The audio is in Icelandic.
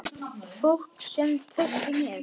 Fólk sem treysti mér.